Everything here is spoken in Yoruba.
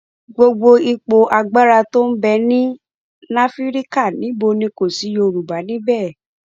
gbogbo ipò agbára tó ń bẹ ní náfíríkà níbí kò sí yorùbá níbẹ